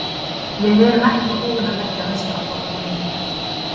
Við erum ekki búnir að leggja meistaraflokkinn niður.